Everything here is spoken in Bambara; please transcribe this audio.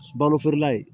Balo feerela ye